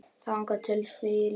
Þangað til því lýkur.